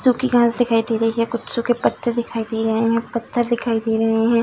सूखी घास दिखाई दे रही है। कुछ सूखे पत्ते दिखाई दे रहें हैं। पत्थर दिखाई दे रहें हैं।